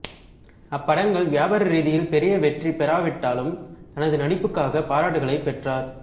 அப்படங்கள் வியாபார ரீதியில் பெரிய வெற்றி பெறாவிட்டாலும் தனது நடிப்புக்காக பாராட்டுகளை பெற்றார்